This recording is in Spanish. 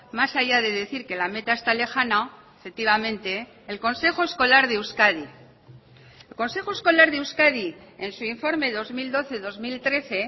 más allá de decir que la meta está lejana efectivamente el consejo escolar de euskadi el consejo escolar de euskadi en su informe dos mil doce dos mil trece